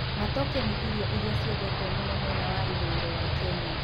Matoke, nĩ irio iria ciendetwo mũno mwena wa ithũĩro wa Kenya.